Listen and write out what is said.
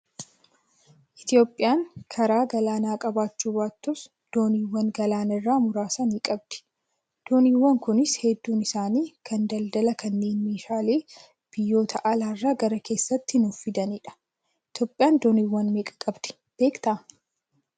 Itoophiyaan karaa galaanaa qabaachuu baattus dooniiwwan galaanarraa muraasa ni qabdi. Dooniiwwan Kunis hedduun isaanii kan daldalaa kanneen meeshaalee biyyoota alaa irraa gara keessaatti nuuf fidanidha. Itoophiyaan dooniiwwan meeqa qabdi beektaa?